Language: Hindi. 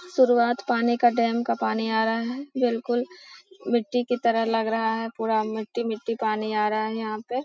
शुरुआत पानी का डैम का पानी आ रहा है बिलकुल मिट्टी की तरह लग रहा है पूरा मिट्टी-मिट्टी पानी आ रहा है यहाँ पे |.